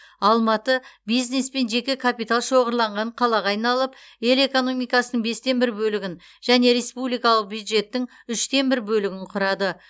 алматы бизнес пен жеке капитал шоғырланған қалаға айналып ел экономикасының бестен бір бөлігін және республикалық бюджеттің үштен бір бөлігін құрады